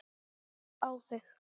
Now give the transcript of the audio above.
Á þig.